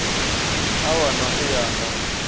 a wana u ya nga